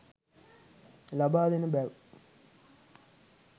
ලබාදෙන බැව්